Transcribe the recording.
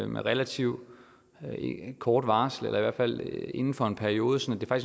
med relativt kort varsel eller i hvert fald inden for en periode sådan at